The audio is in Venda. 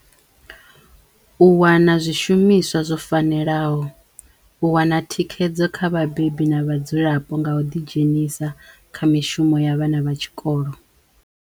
U wana zwishumiswa zwo fanelaho, u wana thikhedzo kha vhabebi na vhadzulapo nga u ḓidzhenisa kha mishumo ya vhana vha tshikolo.